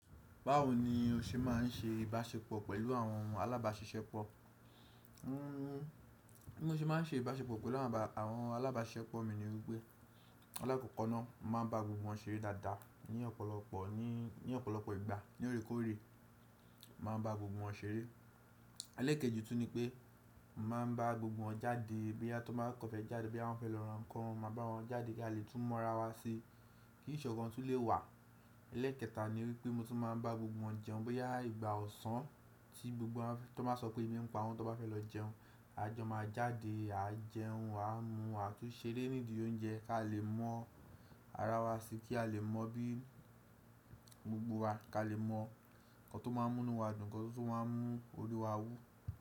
Báwo ni o ṣe máa ń ṣe ìbáṣepọ̀ pẹ̀lú àwọn alábàṣiṣepọ̀? Bí mo ṣe máa ń ṣe ìbáṣepọ̀ pẹ̀lú àwọn alágbàṣepọ̀ mi ni wípé, alàkọ́kọ́ náà màá bá gbogbo wọn ṣeré dáadáa ní ọ̀pọ̀lọpọ̀, ní ọ̀pọ̀lọpọ̀ ìgbà. Ní oreekòore mọ màá n ba gbogbo wọn ṣeré. Èlekejì tún ni pé, mọ màá bá gbogbo wọn jáde bóyá tó bá kọ̀ fẹ́ jáde, bóyá wọ́n fẹ́ lọ ra ǹkan, màá bá wọn jáde kí a lè tún mọ́ ara wa si kí ìṣọ̀kan tún lè wà. Ẹlẹẹkẹta ni wípé mo tún máa ń bá gbogbo wọn jẹun bóyá ìgbà ọ̀sán tí gbogbo wọn tó bá sọ pé ẹbí ǹ pàwọn tó bá fẹ́ lọ jẹun, a jọ máa jáde, a jẹun, a mu àtu ṣeré nídi oúnjẹ kí a lè mọ ara wa si, kí a lè mọ bí gbogbo wa, kí a lè mọ ǹkan tó máa ń mú inú wa dùn, ǹkan tó máa ń mú orí wa wú.